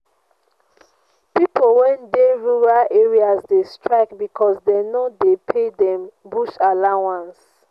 pipo wey dey rural areas dey strike because dey no dey pay dem bush allowance.